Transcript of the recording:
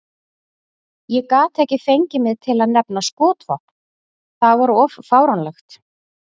Ég gat ekki fengið mig til að nefna skotvopn, það var of fáránlegt.